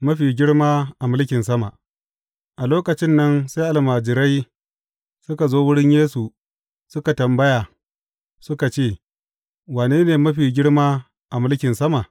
Mafi girma a mulkin sama A lokacin nan sai almajirai suka zo wurin Yesu suka yi tambaya suka ce, Wane ne mafi girma a mulkin sama?